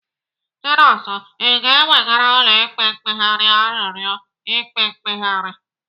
Chinonso, Ị ga-ewegara ụlọ ikpe mkpegharị arịọri ikpe mkpegharị?